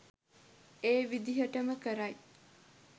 ඒ විදයටම කරයි.